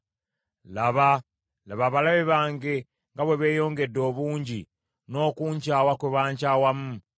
Laba abalabe bange nga bwe beeyongedde obungi n’okunkyawa kwe bankyawamu!